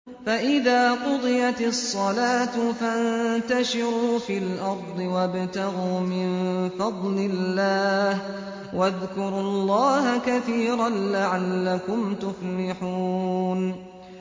فَإِذَا قُضِيَتِ الصَّلَاةُ فَانتَشِرُوا فِي الْأَرْضِ وَابْتَغُوا مِن فَضْلِ اللَّهِ وَاذْكُرُوا اللَّهَ كَثِيرًا لَّعَلَّكُمْ تُفْلِحُونَ